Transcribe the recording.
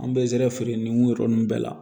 An bɛ zɛrɛ feere nin yɔrɔ ninnu bɛɛ la